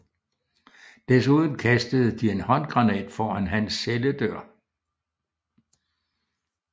Desuden kastede de en håndgranat foran hans celledør